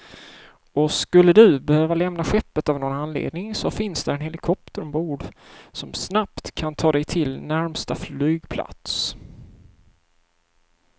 Och skulle du behöva lämna skeppet av någon anledning så finns där en helikopter ombord, som snabbt kan ta dig till närmsta flygplats.